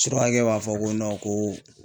Surakakɛ b'a fɔ ko ko